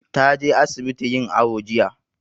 Ta je asibiti yin awo jiya.